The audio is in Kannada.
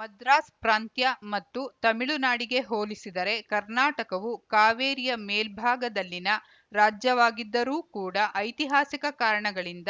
ಮದ್ರಾಸ್‌ ಪ್ರಾಂತ್ಯ ಮತ್ತು ತಮಿಳುನಾಡಿಗೆ ಹೋಲಿಸಿದರೆ ಕರ್ನಾಟಕವು ಕಾವೇರಿಯ ಮೇಲ್ಭಾಗದಲ್ಲಿನ ರಾಜ್ಯವಾಗಿದ್ದರೂ ಕೂಡ ಐತಿಹಾಸಿಕ ಕಾರಣಗಳಿಂದ